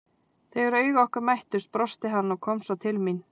Þegar augu okkar mættust brosti hann og kom svo til mín.